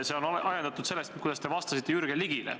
See on ajendatud sellest, kuidas te vastasite Jürgen Ligile.